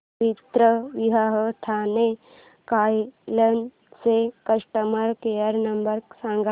पवित्रविवाह ठाणे कार्यालय चा customer care number सांग